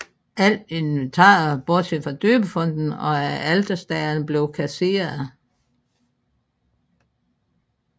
Alt inventaret bortset fra døbefonten og alterstagerne blev kasseret